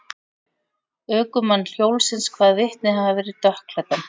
Ökumann hjólsins kvað vitnið hafa verið dökkklæddan.